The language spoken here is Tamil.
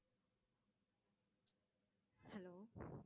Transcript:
hello